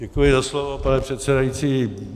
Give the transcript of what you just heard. Děkuji za slovo, pane předsedající.